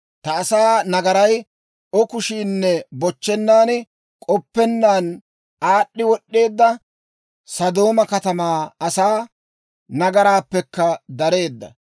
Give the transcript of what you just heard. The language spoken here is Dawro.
Ta asaa nagaray O kushiinne bochchennaaninne k'oppennaan aad'd'i wod'd'eedda Sodooma katamaa asaa nagaraappekka dareedda